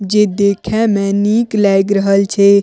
जे देखे में निक लाग रहल छै।